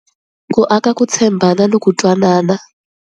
Ku aka ku tshembana ni ku twanana.